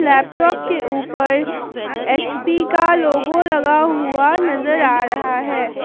Laptop के ऊपर H P का लोगो लगा हुआ नजर आ रहा है।